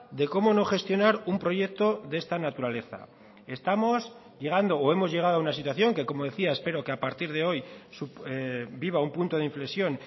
de cómo no gestionar un proyecto de esta naturaleza estamos llegando o hemos llegado a una situación que como decía espero que a partir de hoy viva un punto de inflexión